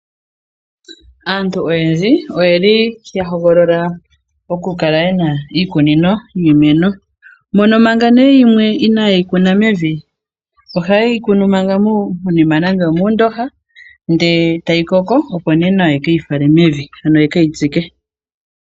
Aantu oyendji oya hogolola okukala ye na iikunino yiimeno. Mono manga yimwe inaye yi kuna mevi ohaye yi kunu manga nenge omuundooha, ndele e tayi koko, opo nduno ye ke yi tsike.